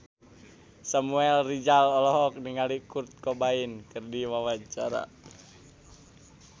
Samuel Rizal olohok ningali Kurt Cobain keur diwawancara